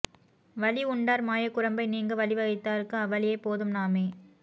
வளி உண்டார் மாயக் குரம்பை நீங்க வழிவைத்தார்க்கு அவ்வழியே போதும் நாமே